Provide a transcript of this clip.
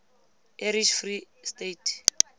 irish free state